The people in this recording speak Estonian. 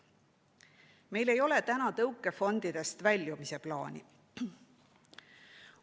Meil ei ole tõukefondidest väljumise plaani.